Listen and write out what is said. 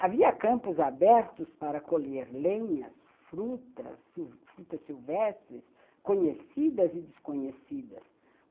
Havia campos abertos para colher lenhas, frutas, frutas silvestres, conhecidas e desconhecidas.